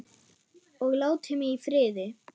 Og láti mig í friði.